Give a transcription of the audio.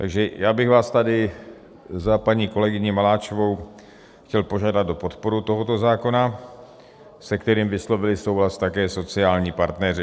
Takže já bych vás tady za paní kolegyni Maláčovou chtěl požádat o podporu tohoto zákona, se kterým vyslovili souhlas také sociální partneři.